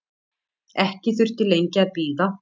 Ekki þurfti lengi að bíða.